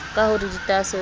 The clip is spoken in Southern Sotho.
ka ho re ditaaso di